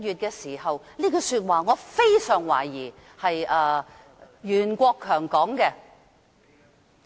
月說的，我非常懷疑是袁國強說的......